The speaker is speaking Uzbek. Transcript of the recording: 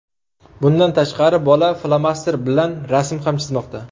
Bundan tashqari, bola flomasterlar bilan rasm ham chizmoqda.